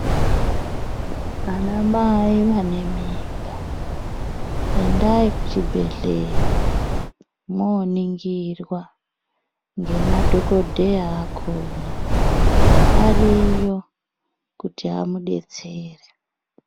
Vana mai vane mimba endai kuchibhedhlera moningirwa nemadhokodheya akona ariyo kuti amudetsere.